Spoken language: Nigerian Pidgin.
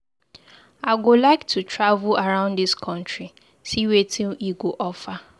I go like to travel around dis country see wetin e go offer.